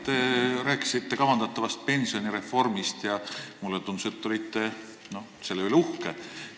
Te rääkisite kavandatavast pensionireformist ja mulle tundus, et te olete selle üle uhke.